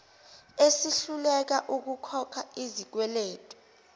esihluleka ukukhokha izikweletu